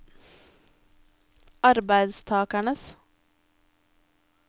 arbeidstakernes